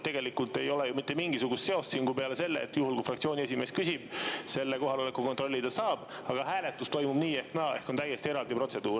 Tegelikult ei ole siin mitte mingisugust seost, peale selle, et juhul kui fraktsiooni esimees küsib, siis selle kohaloleku kontrolli ta saab, aga hääletus toimub nii ehk naa, ehk on täiesti eraldi protseduur.